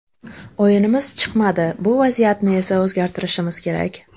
O‘yinimiz chiqmadi, bu vaziyatni esa o‘zgartirishimiz kerak.